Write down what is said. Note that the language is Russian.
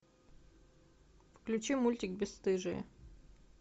включи мультик бесстыжие